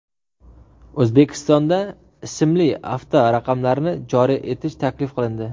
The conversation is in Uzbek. O‘zbekistonda ismli avtoraqamlarni joriy etish taklif qilindi.